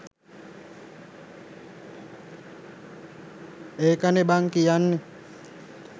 ඒකනේ බං කියන්නේ